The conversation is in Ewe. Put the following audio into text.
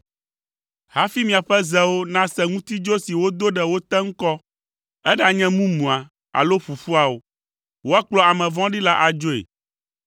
Hafi miaƒe zewo nase ŋutidzo si wodo ɖe wo te ŋkɔ, eɖanye mumua, alo ƒuƒua o, woakplɔ ame vɔ̃ɖi la adzoe.